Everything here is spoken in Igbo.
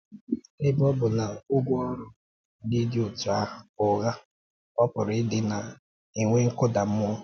Ebe ọ bụ na ụgwọ ọrụ ndị dị otu ahụ bụ ụgha, ọ pụrụ idị na-enwe nkụda mmuọ.